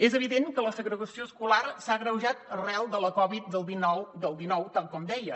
és evident que la segregació escolar s’ha agreujat arran de la covid del dinou tal com deia